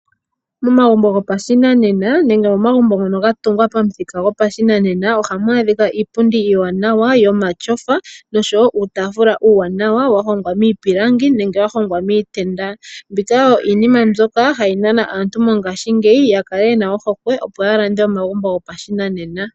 Momagumbo gopashinanena nenge momagumbo ngono ga tungwa pamuthika gwopashinanena ohamu adhika iipundi iiwanawa yomatyofa nosho wo uutaafula uuwana wa hongwa miipilangi nenge wa hongwa miitenda, mbika oyo iinima mbyoka hayi nana aantu mongashiingeyi ya kale ye na ohokwe opo ya lande omagumbo gopashinanena.